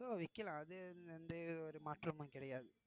விக்கலாம் விக்கலாம் அது வந்து எந்த ஒரு மாற்றமும் கிடையாது